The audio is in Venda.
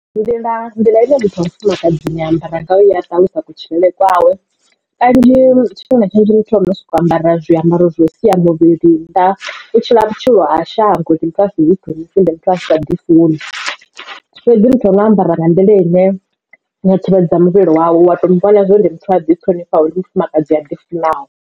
Nḓila nḓila ine muthu wa mufumakadzini a ambara ngayo iya ṱalusa kutshilele kwawe kanzhi tshifhinga tshinzhi muthu ano soko ambara zwiambaro zwa u sia muvhili nnḓa u tshila vhutshilo ha shango ndi muthu asa ḓiṱhonifhi ndi muthu a sa ḓi funi fhedzi ha muthu ane a ambara nga nḓila ine yo thivhedza muvhili wawe wa to mu vhona zwori ndi muthu a ḓi ṱhonifhaho ndi mufumakadzi a ḓifunaho.